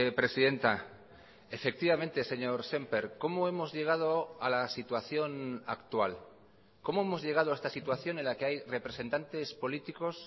presidenta efectivamente señor sémper cómo hemos llegado a la situación actual cómo hemos llegado a esta situación en la que hay representantes políticos